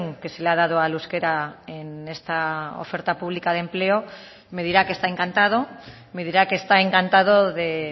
que se le ha dado al euskera en esta oferta pública de empleo me dirá que está encantado me dirá que está encantado de